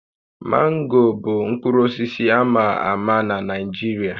Mango bụ mkpụrụ osisi a ma ama na Naịjirịa